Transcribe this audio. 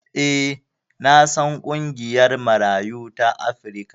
E, na san ƙungiyar Marayu ta Afrika.